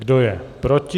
Kdo je proti?